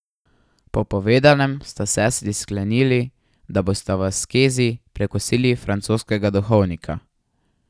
Po povedanem sta sestri sklenili, da bosta v askezi prekosili francoskega duhovnika.